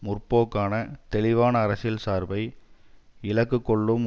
முற்போக்கான தெளிவான அரசியல் சார்பை இலக்கு கொள்ளும்